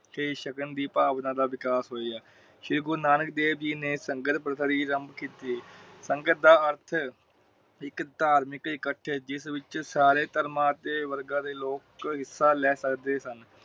ਤੇ ਸਗਨ ਦੀ ਭਾਵਨਾ ਦਾ ਵਿਕਾਸ ਹੋਇਆ। ਸ਼੍ਰੀ ਗੁਰੂ ਨਾਨਕ ਦੇਵ ਜੀ ਲੰਗਰ ਪ੍ਰਥਾ ਦੀ ਆਰੰਭ ਕੀਤੀ ਸੰਗਤ ਦਾ ਅਰਥ ਇਕ ਧਾਰਮਿਕ ਇਕੱਠ ਜਿਸ ਵਿਚ ਸਾਰੇ ਧਰਮਾਂ ਤੇ ਵਰਗਾ ਦਾ ਲੋਕ ਹਿਸਾ ਲੈ ਸਕਦੇ ਸਨ।